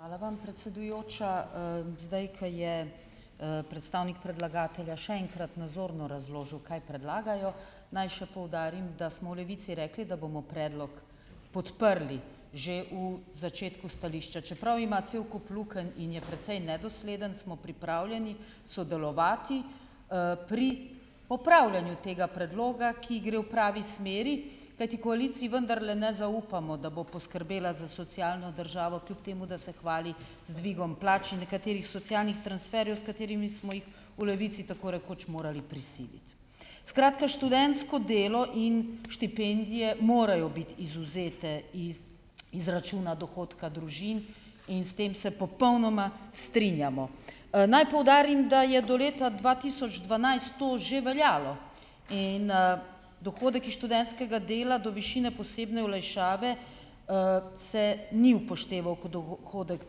Hvala vam, predsedujoča, zdaj, kaj je, predstavnik predlagatelja še enkrat nazorno razložil, kaj predlagajo, naj še poudarim, da smo v Levici rekli, da bomo predlog podprli, že v začetku stališča, čeprav ima cel kup lukenj in je precej nedosleden, smo pripravljeni sodelovati, pri opravljanju tega predloga, ki gre v pravi smeri, kajti koaliciji vendarle ne zaupamo, da bo poskrbela za socialno državo, kljub temu da se hvali z dvigom plač in nekaterih socialnih transferjev, s katerimi smo jih v Levici tako rekoč morali prisiliti, skratka, študentsko delo in štipendije morajo biti izvzete iz izračuna dohodka družin in s tem se popolnoma strinjamo, naj poudarim, da je do leta dva tisoč dvanajst to že veljalo in, dohodek iz študentskega dela do višine posebne olajšave, se ni upošteval kot dohodek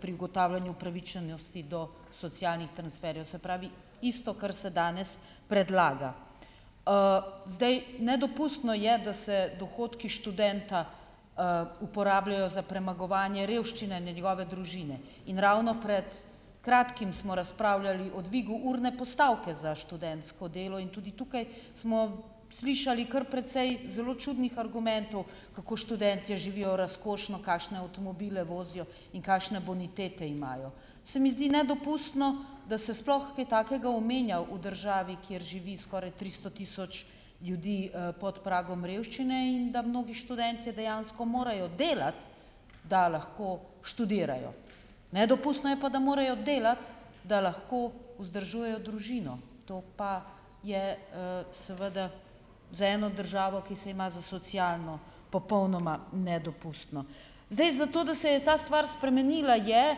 pri ugotavljanju upravičenosti do socialnih transferjev, se pravi, isto, kar se danes predlaga, zdaj nedopustno je, da se dohodki študenta, uporabljajo za premagovanje revščine njegove družine in ravno pred kratkim smo razpravljali o dvigu urne postavke za študentsko delo in tudi tukaj smo slišali kar precej zelo čudnih argumentov, kako študentje živijo razkošno, kakšne avtomobile vozijo in kakšne bonitete imajo, se mi zdi nedopustno, da se sploh kaj takega omenja v državi, kjer živi skoraj tristo tisoč ljudi, pod pragom revščine, in da mnogi študentje dejansko morajo delati, da lahko študirajo, nedopustno je, pa da morajo delati, da lahko vzdržujejo družino, to pa je, seveda za eno državo, ki se ima za socialno, popolnoma nedopustno, zdaj, za to, da se je ta stvar spremenila, je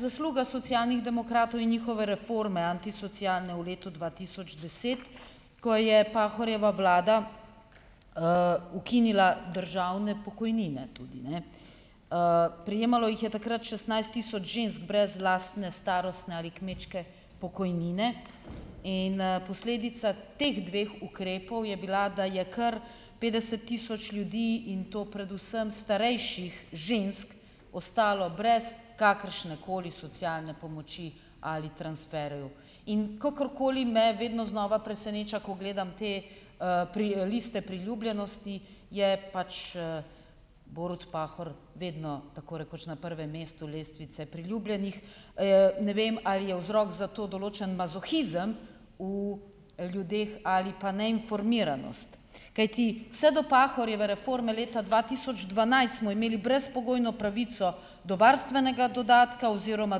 zasluga Socialnih demokratov in njihove reforme antisocialne v letu dva tisoč deset, ko je Pahorjeva vlada, ukinila državne pokojnine tudi, ne, prejemalo jih je takrat šestnajst tisoč žensk brez lastne starostne ali kmečke pokojnine, in, posledica teh dveh ukrepov je bila, da je kar petdeset tisoč ljudi, in to predvsem starejših žensk, ostalo brez kakršnekoli socialne pomoči ali transferjev, in kakorkoli me vedno znova preseneča, ko gledam te, pri, liste priljubljenosti, je pač, Borut Pahor vedno tako rekoč na prvem mestu lestvice priljubljenih, ne vem, ali je vzrok zato določen mazohizem v ljudeh ali pa neinformiranost, kajti vse do Pahorjeve reforme leta dva tisoč dvanajst smo imeli brezpogojno pravico do varstvenega dodatka oziroma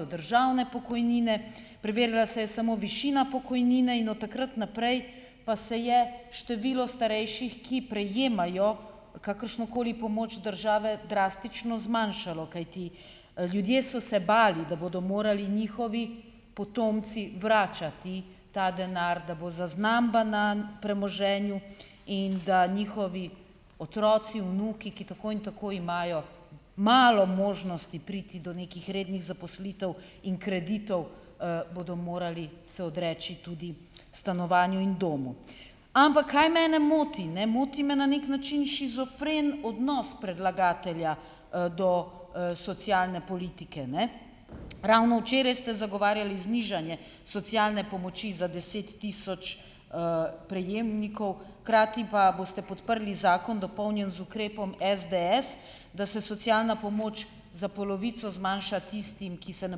do državne pokojnine, preverjala se je samo višina pokojnine in od takrat naprej pa se je število starejših, ki prejemajo kakršnokoli pomoč države, drastično zmanjšalo, kajti ljudje so se bali, da bodo morali njihovi potomci vračati ta denar, da bo zaznamba na premoženju in da njihovi otroci, vnuki, ki tako in tako imajo malo možnosti priti do nekih rednih zaposlitev in kreditov, bodo morali se odreči tudi stanovanju in domu, ampak kaj mene moti? Ne moti me na neki način shizofren odnos predlagatelja, do, socialne politike, ne, ravno včeraj ste zagovarjali znižanje socialne pomoči za deset tisoč, prejemnikov, hkrati pa boste podprli zakon, dopolnjen z ukrepom SDS, da se socialna pomoč za polovico zmanjša tistim, ki se ne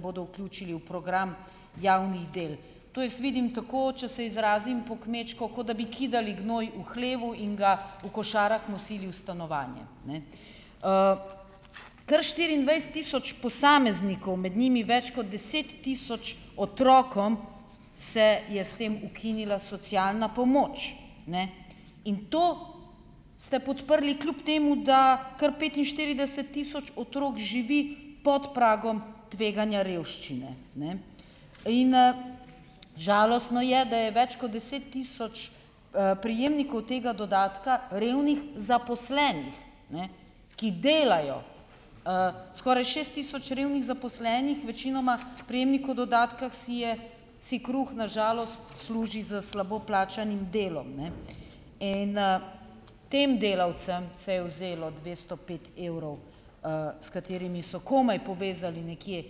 bodo vključili v program javnih del, to jaz vidim tako, če se izrazim po kmečko, kot da bi kidali gnoj v hlevu in ga v košarah nosili v stanovanje, ne, kar štiriindvajset tisoč posameznikov, med njimi več kot deset tisoč otrokom, se je s tem ukinila socialna pomoč, ne, in to ste podprli, kljub temu da kar petinštirideset tisoč otrok živi pod pragom tveganja revščine, ne, in, žalostno je, da je več kot deset tisoč, prejemnikov tega dodatka revnih zaposlenih, ne, ki delajo, skoraj šest tisoč revnih zaposlenih, večinoma prejemnikov dodatka, si je si kruh na žalost služi s slabo plačanim delom, ne, in, tem delavcem se je vzelo dvesto pet evrov, s katerimi so komaj povezali nekje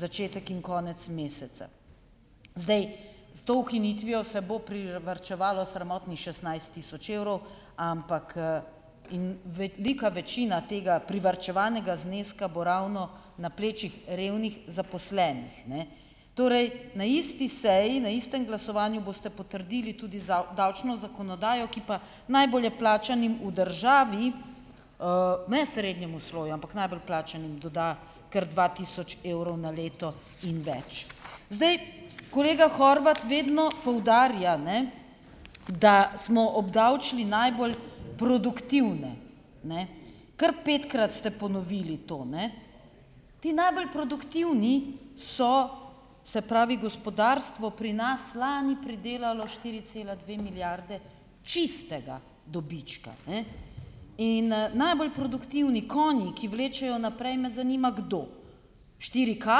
začetek in konec meseca, zdaj, s to ukinitvijo se bo privarčevalo sramotnih šestnajst tisoč evrov, ampak, in velika večina tega privarčevanega zneska bo ravno na plečih revnih zaposlenih, ne, torej na isti seji, na istem glasovanju boste potrdili tudi davčno zakonodajo, ki pa najbolje plačanim v državi, ne srednjemu sloju, ampak najbolj plačanim doda kar dva tisoč evrov na leto in več, zdaj, kolega Horvat vedno poudarja, ne, da smo obdavčili najbolj produktivne, ne, kar petkrat ste ponovili to, ne, ti najbolj produktivni so, se pravi gospodarstvo pri nas lani pridelalo štiri cela dve milijarde čistega dobička, ne, in, najbolj produktivni konji, ki vlečejo naprej, me zanima, kdo štiri K,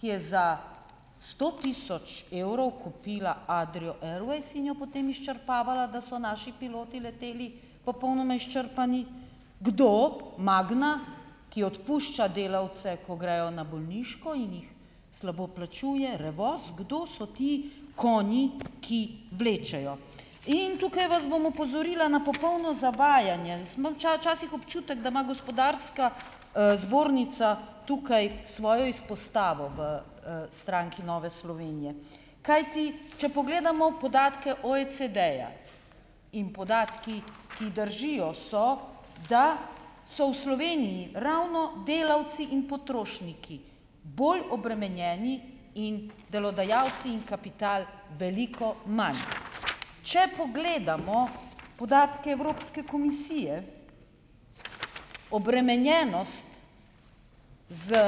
ki je za sto tisoč evrov kupila Adrio Airways in jo potem izčrpavala, da so naši piloti leteli popolnoma izčrpani. Kdo? Magna, ki odpušča delavce, ko grejo na bolniško, in jih slabo plačuje Revoz. Kdo so ti konji, ki vlečejo? In tukaj vas bom opozorila na popolno zavajanje, jaz imam včasih občutek, da ima gospodarska, zbornica tukaj svojo izpostavo v, stranki Nove Slovenije, kajti če pogledamo podatke OECD-ja, in podatki, ki držijo, so, da so v Sloveniji ravno delavci in potrošniki bolj obremenjeni in delodajalci in kapital veliko manj, če pogledamo podatke Evropske komisije, obremenjenost z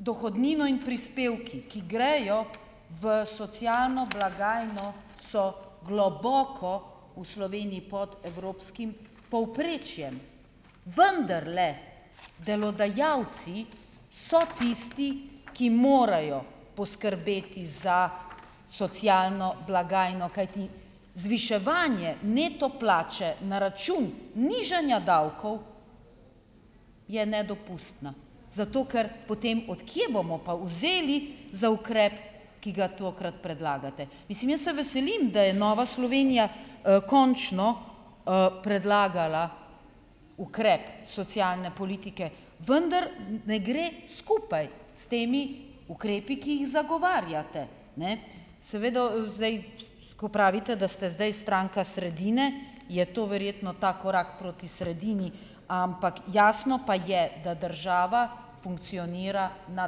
dohodnino in prispevki, ki grejo v socialno blagajno, so globoko v Sloveniji pod evropskim povprečjem, vendarle delodajalci so tisti, ki morajo poskrbeti za socialno blagajno, kajti zviševanje neto plače na račun nižanja davkov je nedopustna, zato ker potem, od kje bomo pa vzeli za ukrep, ki ga tokrat predlagate, mislim, jaz se veselim, da je Nova Slovenija, končno, predlagala ukrep socialne politike, vendar ne gre skupaj s temi ukrepi, ki jih zagovarjate, ne, seveda v zdaj, ko pravite, da ste zdaj stranka sredine, je to verjetno ta korak proti sredini, ampak jasno pa je, da država funkcionira na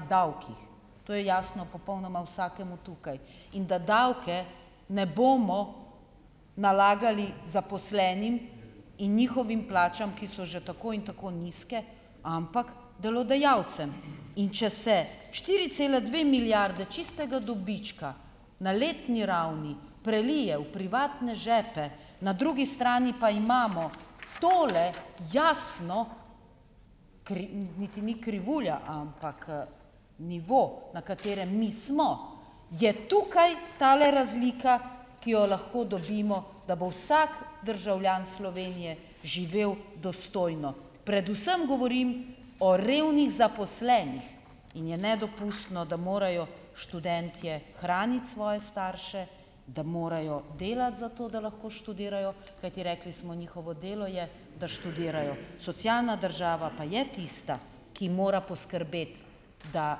davkih, to je jasno popolnoma vsakemu tukaj, in da davke ne bomo nalagali zaposlenim in njihovim plačam, ki so že tako ali tako nizke, ampak delodajalcem, in če se štiri cele dve milijarde čistega dobička na letni ravni prelije v privatne žepe, na drugi strani pa imamo tole, jasno niti ni krivulja, ampak, nivo, na katerem mi smo, je tukaj tale razlika, ki jo lahko dobimo, da bo vsak državljan Slovenije živel dostojno, predvsem govorim o revnih zaposlenih, in je nedopustno, da morajo študentje hraniti svoje starše, da morajo delati za to, da lahko študirajo, kajti rekli smo, njihovo delo je, da študirajo, socialna država pa je tista, ki mora poskrbeti, da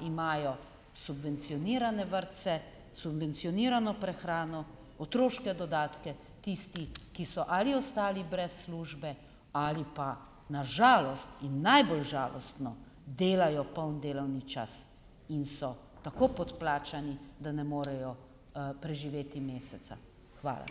imajo subvencionirane vrtce, subvencionirano prehrano, otroške dodatke, tisti, ki so ali ostali brez službe ali pa na žalost in najbolj žalostno delajo polni delovni čas, in so tako podplačani, da ne morejo, preživeti meseca, hvala.